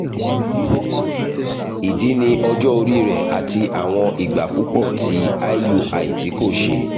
idi ni ọjọ ori rẹ ati awọn igba pupọ ti iui ti ko ṣẹ